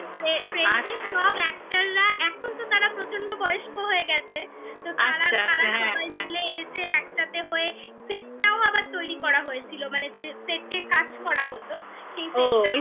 friend -এর সব actor -রা এখন তো তারা প্রচন্ড বয়স্ক হয়ে গেছে আচ্ছা সবাই মিলে এসে একসাথে হয়ে set -টাও আবার তৈরি করা হয়েছিল মানে যে set এ কাজ করা হতো সেই set -টা